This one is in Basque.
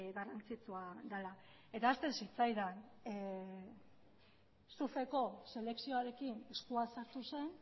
garrantzitsua dela eta ahazten zitzaidan surfeko selekzioarekin eskua sartu zen